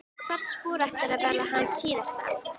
Hvert spor ætlar að verða hans síðasta.